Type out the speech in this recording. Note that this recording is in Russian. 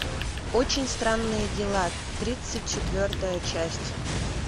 очень странные дела тридцать четвертая часть